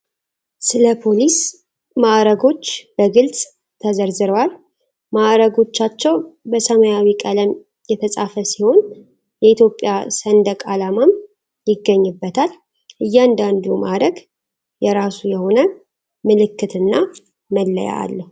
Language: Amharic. ስለ ፖሊስ ማዕረጎች በግልፅ ተዘርዝረዋል። ማዕረጎቻቸው በሰማያዊ ቀለም የተፃፈ ሲሆን የኢትዮጵያ ሰንደቅ አላማም ይገኝበታል። እያንዳንዱ ማዕረግ የራሱ የሆነ ምልክት እና መለያ አለው።